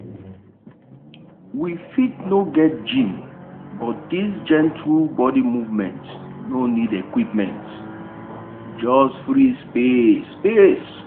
we fit no get gym but this gentle body movement no need equipment just free space. space.